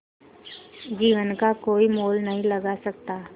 जीवन का कोई मोल नहीं लगा सकता